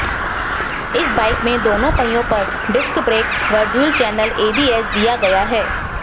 इस बाइक में दोनों पहियों पर डिस्क ब्रेक व डुअल चैनल एबीएस दिया गया है